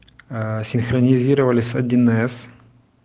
аа синхронизировали с один эс